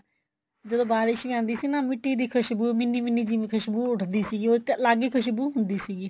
ਜਦੋਂ ਬਾਰਿਸ਼ ਵੀ ਆਂਦੀ ਸੀ ਨਾ ਮਿੱਟੀ ਦੀ ਖੁਸ਼ਬੂ ਮਿਨੀ ਮਿਨੀ ਜਿਵੇਂ ਖੁਸ਼ਬੂ ਉਠਦੀ ਸੀਗੀ ਉਹ ਤਾਂ ਅੱਲਗ ਹੀ ਖੁਸ਼ਬੂ ਹੁੰਦੀ ਸੀਗੀ